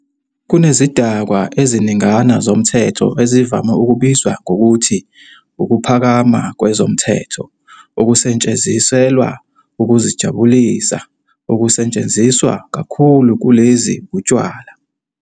Kunezidakwa eziningana zomthetho ezivame ukubizwa ngokuthi "ukuphakama kwezomthetho" okusetshenziselwa ukuzijabulisa. Okusetshenziswa kakhulu kulezi utshwala.